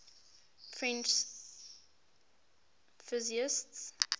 french physicists